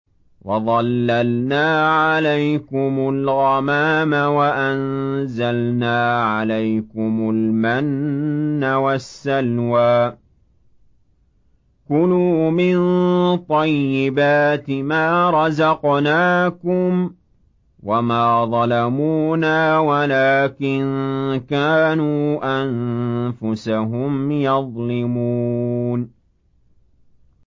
وَظَلَّلْنَا عَلَيْكُمُ الْغَمَامَ وَأَنزَلْنَا عَلَيْكُمُ الْمَنَّ وَالسَّلْوَىٰ ۖ كُلُوا مِن طَيِّبَاتِ مَا رَزَقْنَاكُمْ ۖ وَمَا ظَلَمُونَا وَلَٰكِن كَانُوا أَنفُسَهُمْ يَظْلِمُونَ